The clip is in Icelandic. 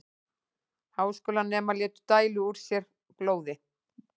Háskólanemar létu dæla úr sér blóði